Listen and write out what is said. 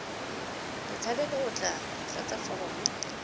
botshabelo o tla tlatsa foromo